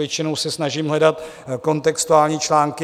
Většinou se snažím hledat kontextuální články.